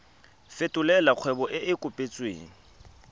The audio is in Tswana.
fetolela kgwebo e e kopetswengcc